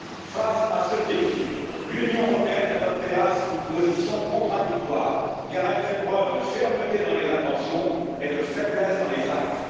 Face à ce défi, l'Union européenne adopte, hélas, une position contradictoire, car elle fait preuve de fermeté dans les intentions, mais de faiblesse dans les actes.